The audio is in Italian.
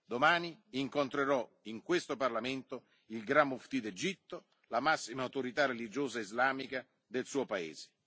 Domani incontrerò in questo Parlamento il Gran Muftì d'Egitto, la massima autorità religiosa islamica del suo paese.